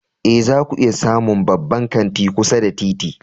Ee, zaku iya samun babban kanti kusa da titi.